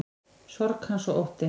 Sorg hans og ótti.